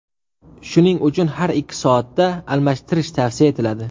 Shuning uchun har ikki soatda almashtirish tavsiya etiladi.